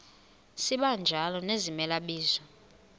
sibanjalo nezimela bizo